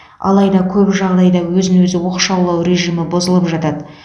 алайда көп жағдайда өзін өзі оқшалау режимі бұзылып жатады